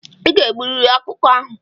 I ga-egburịrị ọkụkọ ahụ!